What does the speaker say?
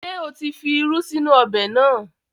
Ṣé o tí fi irú sínú ọbẹ̀ náà?